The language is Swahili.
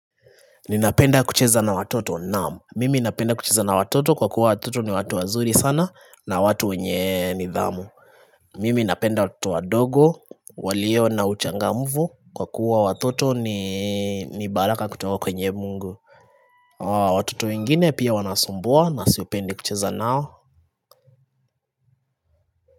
Ninapenda kucheza na watoto naam Mimi napenda kucheza na watoto kwa kuwa watoto ni watu wazuri sana na watu wenye nidhamu Mimi napenda watoto wadogo walio na uchangamvu kwa kuwa watoto ni baraka kutoka kwenye mungu Watoto wengine pia wanasumbua na sipendi kucheza nao.